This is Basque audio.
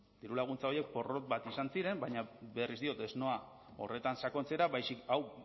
dirulaguntza horiek porrot bat izan ziren baina berriz diot ez noa horretan sakontzera baizik hau